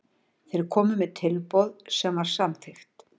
Þeir komu með tilboð sem var samþykkt.